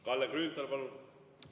Kalle Grünthal, palun!